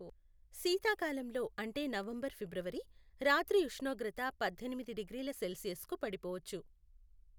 శీతాకాలంలో అంటే November February, రాత్రి ఉష్ణోగ్రత పద్దెనిమిది డిగ్రీల సెల్సియస్కు పడిపోవచ్చు.